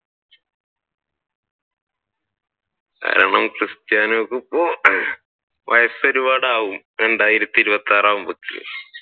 കാരണം Cristiano ക്ക് ഇപ്പൊ വയസ്സ് ഒരുപാട് ആവും രണ്ടായിരത്തി ഇരുപത്തി ആർ ആകുമ്പഴത്തെക്ക്